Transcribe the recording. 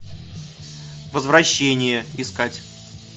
возвращение искать